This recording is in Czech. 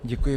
Děkuji.